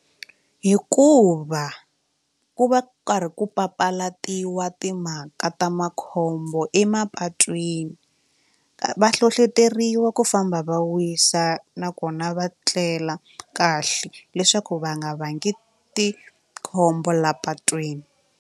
Hikuva ku va ku karhi ku papalatiwa timhaka ta makhombo emapatwini va hlohloteriwa ku famba va wisa nakona va tlela kahle leswaku va nga vangi tikhombo laha patwini.